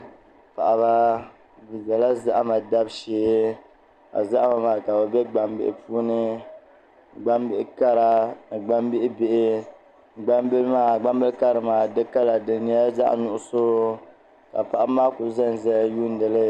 Paɣaba bi biɛla zahama dabu shee ka zahama maa ka bi bɛ gbambihi puuni gbambihi kara ni gbambihi bihi gbambili karili maa di kala di nyɛla zaɣ nuɣso ka paɣaba maa ku ʒɛnʒɛya yundili